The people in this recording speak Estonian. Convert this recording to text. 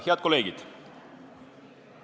Head kolleegid!